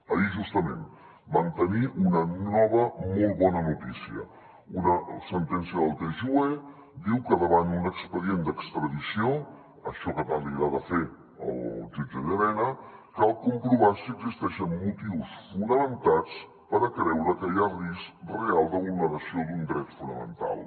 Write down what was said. ahir justament vam tenir una nova molt bona notícia una sentència del tjue diu que davant un expedient d’extradició això que tant li agrada fer al jutge llarena cal comprovar si existeixen motius fonamentats per creure que hi ha risc real de vulneració d’un dret fonamental